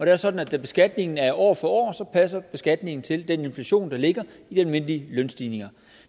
er sådan at da beskatningen er år for år passer beskatningen til den inflation der ligger i de almindelige lønstigninger